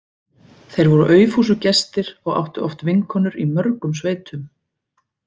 Þeir voru aufúsugestir og áttu oft vinkonur í mörgum sveitum.